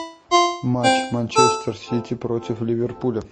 матч манчестер сити против ливерпуля